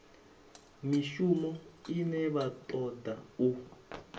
mishumo ine vha toda u